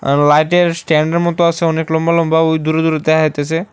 আর light এর stand এর মতো আসে অনেক লম্বা লম্বা ওই দূরে দূরে দেহা যাইতেসে।